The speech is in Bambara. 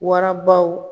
Warabaw